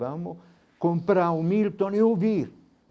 Vamos comprar o Milton e ouvir.